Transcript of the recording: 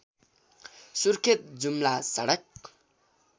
सुर्खेत जुम्ला सडक